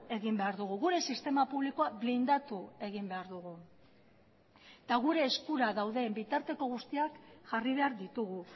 egin behar dugu gure sistema publikoa blindatu egin behar dugu eta gure eskura dauden bitarteko guztiak jarri behar ditugu